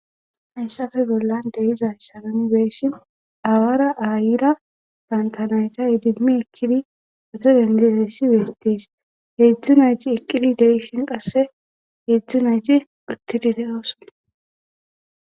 hayssafe bollan de7izay misilen nu be7ishin awaara aayira banta nayta idimmi ekkidi motoriyan geloyssi beetees heedzdzu nayti eqqidi de7ishin qasse heedzdzu nayti uttidi de7oosona.